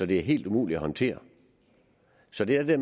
det er helt umuligt at håndtere så det er det